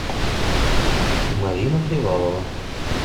марина привалова